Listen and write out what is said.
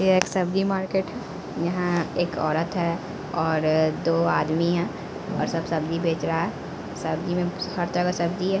ये एक सब्जी है मार्केट है यहाँ एक औरत है और दो आदमी है और सब सब्जी बेच रहा है सब्जी में हर जगह सब्जी है।